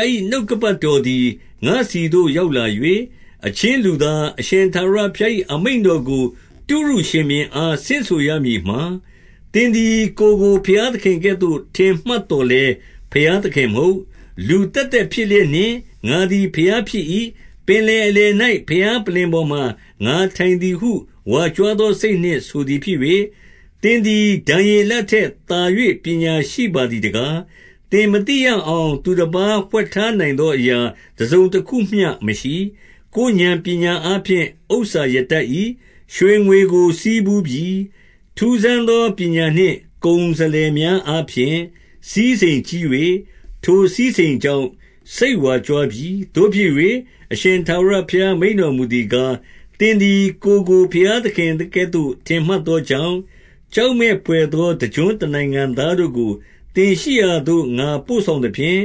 ား၏ နှုတ်ကပတ်တော်သည် ငါ့ဆီသို့ရောက်လာ၍၊ 2 အချင်းလူသား၊ အရှင်ထာဝရဘုရား၏ အမိန့် တော်ကို တုရုရှင်ဘုရင်အား ဆင့်ဆိုရမည်မှာ၊ သင်သည် ကိုယ်ကို ဘုရားသခင်ကဲ့သို့ ထင်မှတ်သော်လည်း ဘုရား သခင်မဟုတ်၊ လူသက်သက်ဖြစ်လျက်နှင့် ငါသည် ဘုရား ဖြစ်၏။ ပင်လယ်အလယ်၌ ဘုရားပလ္လင်ပေါ်မှာ ငါထိုင် သည်ဟု ဝါကြွားသောစိတ်နှင့် ဆိုသည်ဖြစ်၍၊ 3 သင်သည် ဒံယေလထက်သာ၍ ပညာရှိပါသည် တကား။ သင်မသိရအောင် သူတပါးဝှက်ထားနိုင်သော အရာ တစုံတခုမျှမရှိ။ 4 ကိုယ်ဥာဏ်ပညာအားဖြင့် ဥစ္စာရတတ်၏။ ရွှေငွေကို ဆည်းပူးပြီ။ 5 ထူးဆန်းသော ပညာနှင့် ကုန်စလယ်များအား ဖြင့် စည်းစိမ်ကြီး၍၊ ထိုစည်းစိမ်ကြောင့် စိတ်ဝါကြွားပြီ။ 6 သို့ဖြစ်၍၊ အရှင်ထာဝရဘုရား မိန့်တော်မူသည် ကား၊ သင်သည် ကိုယ်ကို ဘုရားသခင်ကဲ့သို့ ထင်မှတ် သောကြောင့်၊ 7 ကြောက်မက်ဘွယ်သော တကျွန်းတနိုင်ငံသား တို့ကို သင်ရှိရာသို့ ငါပို့ဆောင်သဖြင့်၊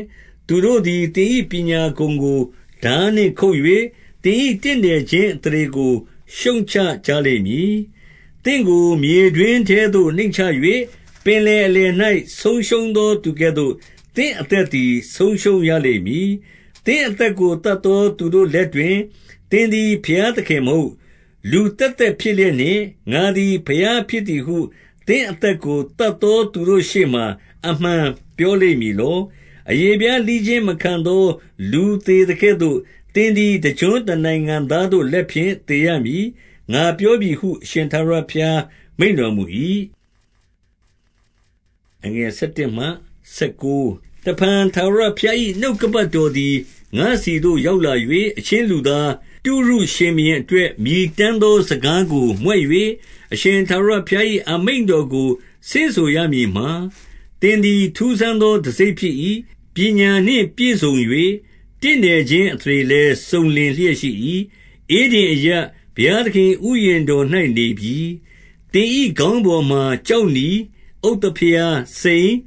သူတို့သည် သင်၏ ပညာဂုဏ်ကို ထားနှင့်ခုတ်၍၊ သင်၏တင့်တယ်ခြင်း အသရေကို ရှုတ်ချကြလိမ့်မည်။ 8 သင့်ကို မြေတွင်းထဲသို့နှိမ့်ချ၍၊ ပင်လယ်အလယ် ၌ ဆုံးရှုံးသောသူကဲ့သို့ သင့်အသက်သည် ဆုံးရှုံးရလိမ့် မည်။ 9 သင့်အသက်ကို သတ်သော သူတို့လက်တွင်၊ သင်သည် ဘုရားသခင်မဟုတ်၊ လူသက်သက် ဖြစ်လျက် နှင့်၊ ငါသည် ဘုရားဖြစ်သည်ဟု သင့်အသက်ကို သတ်သောသူတို့ရှေ့မှာ အမှန်ပြောလိမ့်မည်လော။ 10 အရေးဖျားလှီးခြင်းမခံသော လူသေသကဲ့သို့၊ သင်သည် တကျွန်းတနိုင်ငံသားတို့ လက်ဖြင့်သေရမည်။ ငါပြောပြီဟု အရှင်ထာဝရဘုရားမိန့်တော်မူ၏။ 11 တဖန်ထာဝရဘုရား၏ နှုတ်ကပတ်တော်သည် ငါ့ဆီသို့ရောက်လာ၍၊ 12 အချင်းလူသား၊ တုရုရှဘုရင်အတွက် မြည်တမ်း သော စကားကို မြွက်၍၊ အရှင်ထာဝရဘုရား၏ အမိန့်တော်ကို ဆင့်ဆိုရမည်မှာ၊ သင်သည် ထူးဆန်းသော တံဆိပ်ဖြစ်၏။ ပညာနှင့်ပြည့်စုံ၍ တင့်တယ်ခြင်းအသရေ လည်းစုံလင်လျက်ရှိ၏။ 13 ဧဒင် အရပ်၊ ဘုရားသခင်၏ ဥယျာဉ်တော်၌ နေပြီ။ သင်၏ခေါင်းပေါ်မှာ ကျောက်နီ၊ ဥဿဖရား၊ စိန်၊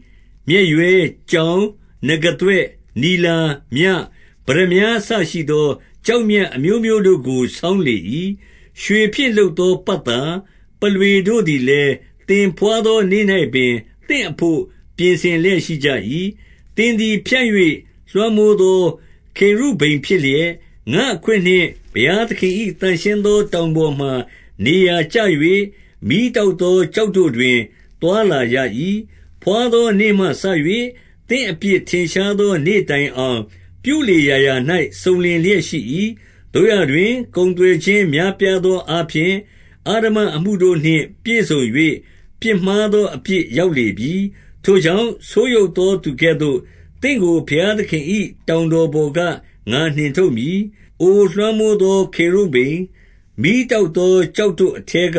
မျက်ရွဲ၊ ကြောင်၊ နဂါးသွ့၊ နီလာ၊ မြ၊ ပတ္တမြား အစရှိသော ကျောက်မြတ် အမျိုးမျိုးတို့ကို ဆောင်လေ၏။ ရွှေဖြင့် လုပ်သော ပတ်သာ၊ ပုလွေတို့သည်လည်း၊ သင်ဘွားသော နေ့၌ပင် သင့်အဘို့ ပြင်ဆင်လျက်ရှိကြ၏။ 14 သင်သည် ဖြန့်၍ လွှမ်းမိုးသော ခေရုဗိမ် ဖြစ်လျက်၊ ငါ့အခွင့်နှင့် ဘုရားသခင်၏ သန့်ရှင်းသော တောင်ပေါ်မှာ နေရာကျ၍ မီးတောက်သော ကျောက်တို့ တွင် သွားလာရ၏။ 15 ဘွားသောနေ့မှစ၍ သင့်အပြစ်ထင်ရှားသော နေ့တိုင်အောင်၊ ပြုလေရာရာ၌ စုံလင်လျက်ရှိ၏။ 16 သို့ရာတွင်၊ ကုန်သွယ်ခြင်း များပြားသောအား ဖြင့်၊ အဓမ္မအမှုတို့နှင့်ပြည့်စုံ၍ ပြစ်မှားသောအပြစ် ရောက်လေပြီ။ ထိုကြောင့်၊ ဆိုးယုတ်သော သူကဲ့သို့၊ သင့်ကိုဘုရားသခင်၏ တောင်တော်ပေါ်က ငါနှင်ထုတ် မည်။ အိုလွှမ်းမိုးသော ခေရုဗိမ်၊ မီးတောက်သော ကျောက်တို့အထဲက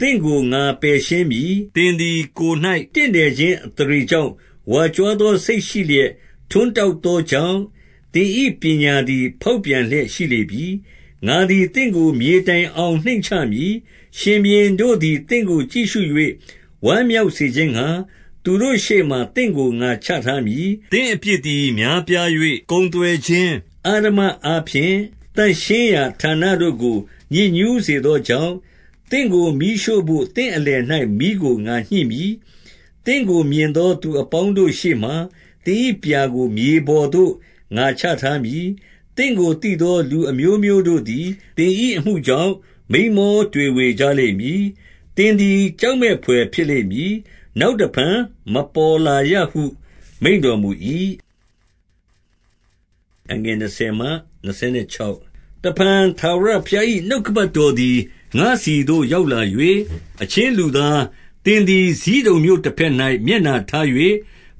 သင့်ကိုငါ ပယ်ရှင်းမည်။ 17 သင်သည် ကိုယ်၌ တင့်တယ်ခြင်းအသရေ ကြောင့်၊ ဝါကြွားသော စိတ်ရှိလျက် ဂုဏ်ထွန်းတောက် သောကြောင့်၊ သင်၏ပညာသည် ဖေါက်ပြန်လျက်ရှိလေ ပြီ။ ငါသည်သင့်ကို မြေတိုင်အောင်နှိမ့်ချမည်။ ရှင်ဘုရင် တို့သည် သင့်ကိုကြည့်ရှု၍ ဝမ်းမြောက်စေခြင်းငှါ၊ သူတို့ ရှေ့မှာ သင့်ကို ငါချထားမည်။ 18 သင့်အပြစ်သည်များပြား၍ ကုန်သွယ်ခြင်း အဓမ္မအားဖြင့်၊ သန့်ရှင်းရာဌာနတို့ကို ညစ်ညူးစေသော ကြောင့်၊ သင့်ကိုမီးရှို့ဘို့ သင့်အလယ်၌ မီးကိုငါညှိမည်။ သင့်ကိုမြင်သော သူအပေါင်းတို့ရှေ့မှာ၊ သင်၏ ပြာကို မြေပေါ်သို့ ငါချထားမည်။ 19 သင့်ကိုသိသောလူ အမျိုးမျိုးတို့သည် သင်၏ အမှုကြောင့် မိန်းမောတွေဝေကြလိမ့်မည်။ သင်သည် ကြောက်မက်ဘွယ်ဖြစ်လိမ့်မည်။ နောက်တဖန် မပေါ်လာရ ဟု မိန့်တော်မူ၏။ 20 တဖန်ထာဝရဘုရား၏ နှုတ်ကပတ်တော်သည် ငါ့ဆီသို့ရောက်လာ၍၊ 21 အချင်းလူသား၊ သင်သည် ဇိဒုန်မြို့တဘက်၌ မျက်နှာထား၍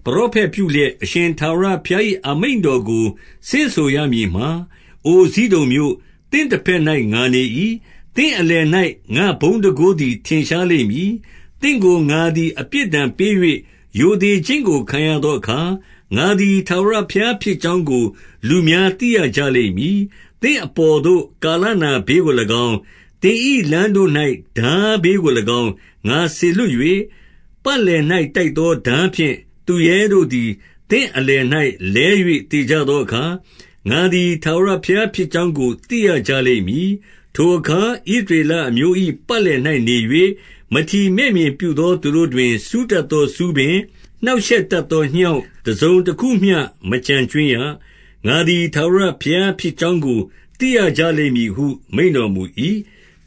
ပရောဖက်ပြုလျက်၊ 22 အရှင် ထာဝရဘုရား၏ အမိန့်တော်ကို ဆင့်ဆိုရမည် မှာ၊ အိုဇိဒုန်မြို့၊ သင့်တဘက်၌ ငါနေ၏။ သင့်အလယ်၌ ငါ့ဘုန်းတန်ခိုးသည် ထင်ရှားလိမ့်မည်။ သင့်ကိုငါသည် အပြစ်ဒဏ်ပေး၍ ရိုသေခြင်းကိုခံရသောအခါ၊ ငါသည် ထာဝရဘုရားဖြစ်ကြောင်းကို လူများသိရကြလိမ့်မည်။ 23 သင့်အပေါ်သို့ ကာလနာဘေးကို၎င်း၊ သင်၏ လမ်းတို့၌ ထားဘေးကို၎င်း၊ ငါစေလွှတ်၍၊ ပတ်လည်၌ တိုက်သော ထားဖြင့်သူရဲတို့သည် သင့်အလယ်၌ လဲ၍ သေကြသောအခါ၊ ငါသည် ထာဝရဘုရားဖြစ်ကြောင်းကို သိရကြလိမ့်မည်။ 24 ထိုအခါ ဣသရေလအမျိုး၏ ပတ်လည်၍နေ၍၊ မထီမဲ့မြင်ပြုသော သူတို့တွင် စူတတ်သော ဆူးပင်၊ နှောက်ရှက်တတ်သောငြောင့် တစုံတခုမျှ မကုတ်ကြွင်းရ။ ငါသည် ထာဝရဘုရားဖြစ်ကြောင်းကို သိရကြလိမ့်မည်ဟု မိန့်တော်မူ၏။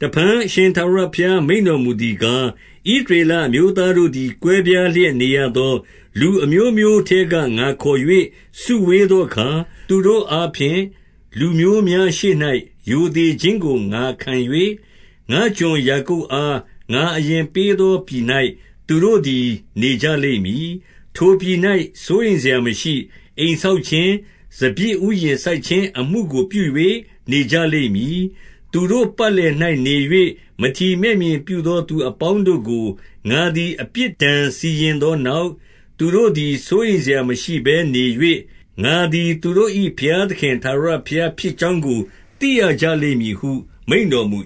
25 တဖန် အရှင်ထာဝရဘုရား၏ မိန့်တော်မူသည်ကား၊ ဣသရေလအမျိုးသားတို့သည် ကွဲပြားလျက်နေသော လူ အမျိုးမျိုးထဲက ငါခေါ်၍စုဝေးသောအခါ၊ သူတို့အားဖြင့် လူမျိုးများရှေ့၌ ရိုသေခြင်းကိုငါခံ၍၊ ငါ့ကျွန်ယာကုပ်အား အငါအရင်ပေးသော ပြည်၌သူတို့သည် နေကြလိမ့်မည်။ 26 ထိုပြည်၌ စိုးရိမ်စရာမရှိ။ အိမ်ဆောက်ခြင်း၊ စပျစ်ဥယျာဉ်စိုက် ခြင်းအမှုကိုပြု၍ နေကြလိမ့်မည်။ သူတို့ ပတ်လည်၌ နေ၍မထီမဲ့မြင်ပြုသော သူအပေါင်းတို့ကို ငါသည် အပြစ်ဒဏ်စီရင်သောနောက် သူတို့သည် စိုးရိမ် စရာမရှိဘဲနေ၍၊ ငါသည် သူတို့၏ ဘုရားသခင် ထာဝရ ဖြစ်ကြောင်းကို သိရကြလိမ့်မည်ဟု မိန့်တော်မူ